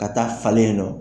Ka taa falen nɔ.